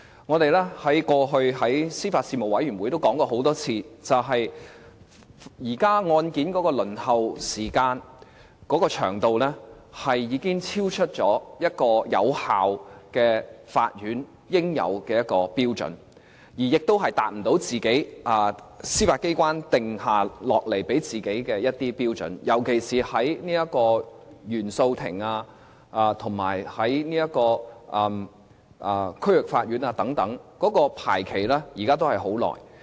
我們過去在司法及法律事務委員會都討論過很多次，現在案件的輪候時間已經超出有效法院應有的一個標準，亦達不到司法機關給自己訂下的一些標準，特別是在原訴庭以及區域法院等，現在排期時間都是很長的。